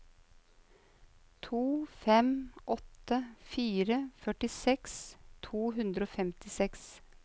to fem åtte fire førtiseks to hundre og femtiseks